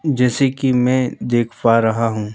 जैसे कि मैं देख पा रहा हूँ--